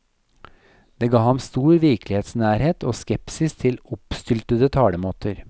Det ga ham stor virkelighetsnærhet og skepsis til oppstyltede talemåter.